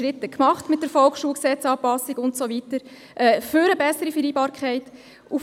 Wir haben mit der Anpassung des VSG und so weiter die ersten Schritte für eine bessere Vereinbarkeit gemacht.